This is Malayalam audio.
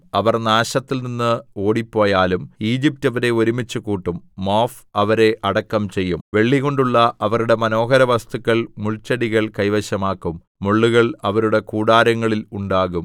അവർ നാശത്തിൽനിന്ന് ഓടിപ്പോയാലും ഈജിപ്റ്റ് അവരെ ഒരുമിച്ച് കൂട്ടും മോഫ് അവരെ അടക്കം ചെയ്യും വെള്ളികൊണ്ടുള്ള അവരുടെ മനോഹരവസ്തുക്കൾ മുൾച്ചെടികൾ കൈവശമാക്കും മുള്ളുകൾ അവരുടെ കൂടാരങ്ങളിൽ ഉണ്ടാകും